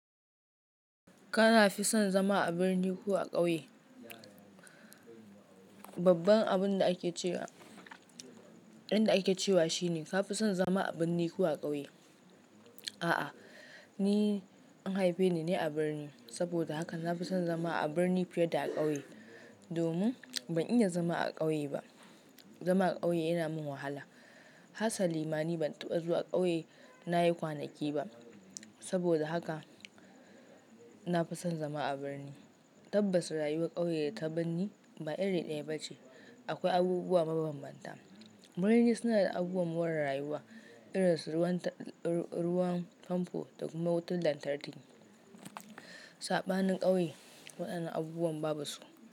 Ka fi son zama a birni ko a ƙauye? Babban abin da ake cewa, yan da ake cewa shine ka fi son zama a birni ko a ƙauye. A'a, ni an haife ni ne a birni saboda haka na fi son zama a birni fiye da ƙauye. Domin ban iya zama a ƙauye ba. Zama a ƙauye yana min wahala. Hasalima ni ban taɓa zuwa ƙauye na yi kwanaki ba. Saboda haka na fi son zama a birni. Tabbas rayuwar ƙauye da ta birni ba iri ɗaya ba ce. Akwai abubuwa mabambanta. Birni suna da abubuwan more rayuwa irin su ruwan famfo da kuma wutar lantarki. Saɓanin ƙauye waɗannan abubuwan babu su.